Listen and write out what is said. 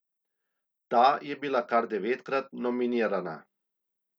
Ta je bila kar devetkrat nominirana.